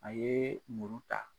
A yee muru ta.